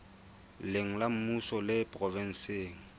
leng la mmuso le provenseng